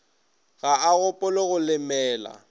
ga a gopole go lemela